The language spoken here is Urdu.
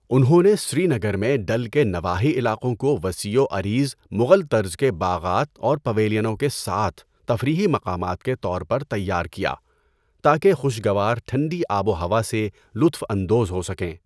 انہوں نے سری نگر میں ڈل کے نواحی علاقوں کو وسیع و عریض مغل طرز کے باغات اور پویلینوں کے ساتھ تفریحی مقامات کے طور پر تیار کیا تاکہ خوشگوار ٹھنڈی آب و ہوا سے لطف اندوز ہو سکیں۔